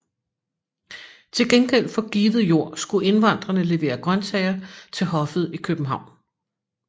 Til gengæld for givet jord skulle indvandrerne levere grøntsager til hoffet i København